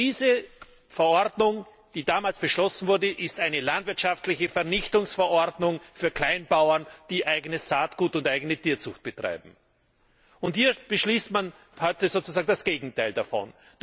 Diese Verordnung, die damals beschlossen wurde, ist eine landwirtschaftliche Vernichtungsverordnung für Kleinbauern, die eigenes Saatgut erzeugen und eigene Tierzucht betreiben. Hier beschließt man heute sozusagen das Gegenteil davon.